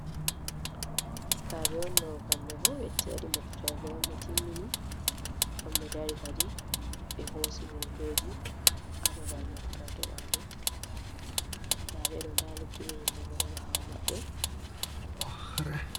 Sukabe on dogo kambe bo wetti wadi moftorde on be timmini ,on be dari kadi be hosi hotoji hababal moftorde majum dabe do da luttube himbe bodo bawo mabbe.